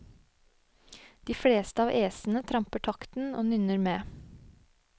De fleste av æsene tramper takten og nynner med.